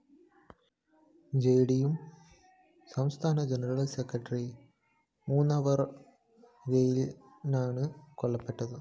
JDU സംസ്ഥാന general secretary Munavar‍ റെയിനാണ് കൊല്ലപ്പെട്ടത്